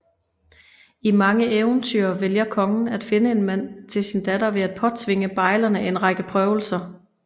I mange eventyr vælger kongen at finde en mand til sin datter ved at påtvinge bejlerne en række prøvelser